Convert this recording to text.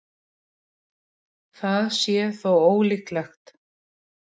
Það sé þó ólíklegt